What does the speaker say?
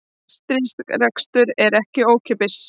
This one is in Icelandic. Stríðsrekstur er ekki ókeypis